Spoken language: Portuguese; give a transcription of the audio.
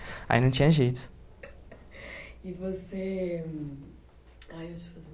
Aí não tinha jeito. E você... Ah, eu ia te fazer